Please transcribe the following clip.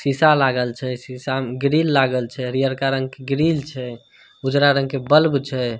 सीसा लागल छै सीसा म ग्रील लागल छै हरीयरका रंग के ग्रील छै उजरा रंग के बल्ब छै।